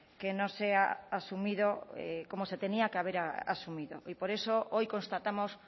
que no se ha asumido como se tenía que haber asumido y por eso hoy constatamos